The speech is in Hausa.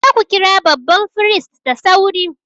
Ku je ku kira babban firist da sauri!